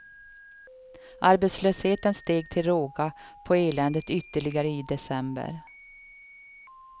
Arbetslösheten steg till råga på eländet ytterligare i december.